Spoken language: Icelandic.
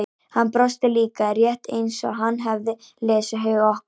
Hann brosti líka, rétt eins og hann hefði lesið hug okkar.